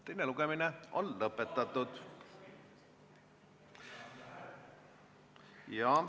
Teine lugemine on lõpetatud.